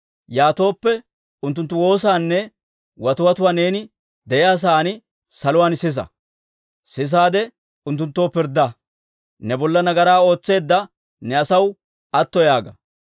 yaatooppe, unttunttu woosaanne watiwatuwaa neeni de'iyaa sa'aan saluwaan sisa. Sisaade unttunttoo pirddaa; ne bolla nagaraa ootseedda ne asaw atto yaaga.